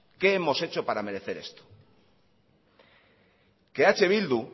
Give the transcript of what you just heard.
qué hemos hecho para merecer esto que eh bildu